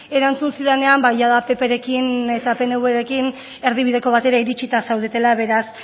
erantzun zidanean ba jada pprekin eta pnvrekin erdibideko batera iritsita zaudetela beraz